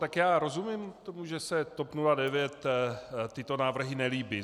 Tak já rozumím tomu, že se TOP 09 tyto návrhy nelíbí.